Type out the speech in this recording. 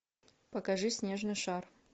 покажи снежный шар